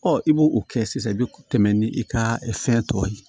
Ɔ i b'o kɛ sisan i bɛ tɛmɛ ni i ka fɛn tɔ ye